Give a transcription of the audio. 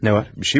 Ne var?